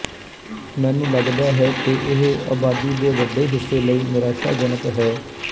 ਮੈਨੂੰ ਲੱਗਦਾ ਹੈ ਕਿ ਇਹ ਅਬਾਦੀ ਦੇ ਵੱਡੇ ਹਿੱਸੇ ਲਈ ਨਿਰਾਸ਼ਾਜਨਕ ਹੈ